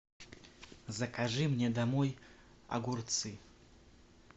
закажи мне домой огурцы